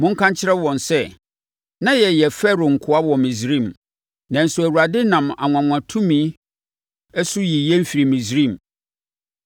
Monka nkyerɛ wɔn sɛ “Na yɛyɛ Farao nkoa wɔ Misraim, nanso Awurade nam anwanwatumi so yii yɛn firii Misraim.